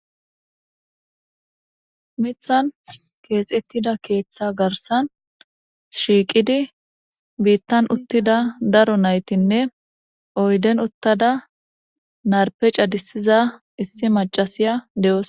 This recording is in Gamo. Mithan keexettida keeththa garsan shiiqidi biittan uttida daro naytinne oyden uttada narpe cadissiza issi macasiya de'oos.